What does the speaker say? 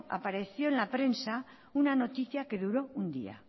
apareció en la prensa una noticia que duró un día